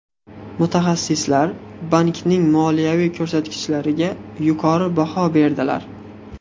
Mutaxassislar bankning moliyaviy ko‘rsatkichlariga yuqori baho berdilar.